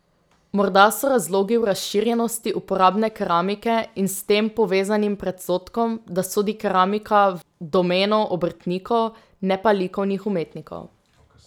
Morda so razlogi v razširjenosti uporabne keramike in s tem povezanim predsodkom, da sodi keramika v domeno obrtnikov, ne pa likovnih umetnikov ...